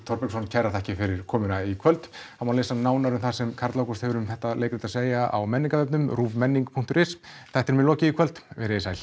Þorbergsson kærar þakkir fyrir komuna í kvöld það má lesa nánar um það sem Karl Ágúst hefur um leikritið að segja á Menningarvefnum ruvmenning punktur is þættinum er lokið í kvöld verið þið sæl